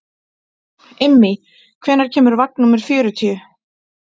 Immý, hvenær kemur vagn númer fjörutíu?